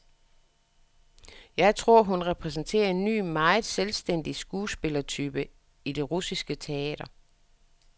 Jeg tror, hun repræsenterer en ny, meget selvstændig skuespillertype i det russiske teater.